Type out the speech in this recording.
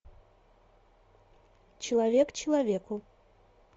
человек человеку